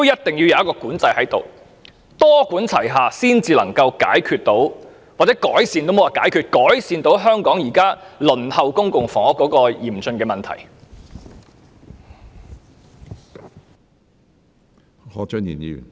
政府必須多管齊下，才能夠解決——我應該用"改善"一詞而非"解決"——改善香港現時輪候公屋的嚴峻情況。